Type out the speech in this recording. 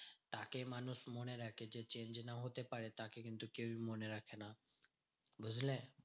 তাকে মানুষ মনে রাখে যে change না হতে পারে, তাকে কিন্তু কেউ মনে রাখে না, বুঝলে?